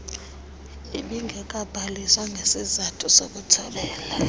ibingekabhaliswa ngesisathu sokuthobela